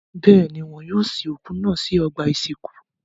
Bẹ́ẹ̀ ni, wọ́n yóò sin òkú náà sí ọgbà-ìsìnkú.